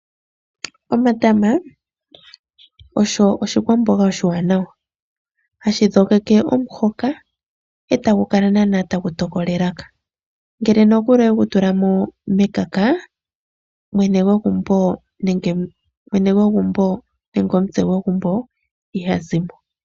Omata osho ogo oshikwamboga oshiwanawa hashi dhogeke omuhoka etagu kala tagu tokola elaka . Ngele owe ga tula mekaka mwene gwegumbo nenge omutse gwegumbo iha zimo.